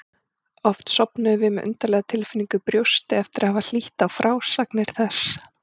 Oft sofnuðum við með undarlega tilfinningu í brjósti eftir að hafa hlýtt á frásagnir þess.